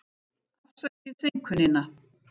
Afsakið seinkunina.